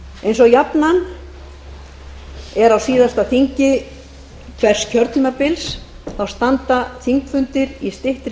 eins og jafnan er á síðasta þingi hvers kjörtímabils standa þingfundir í styttri